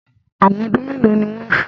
Èwọ̀n ọdún mélòó ni wọ́n fun?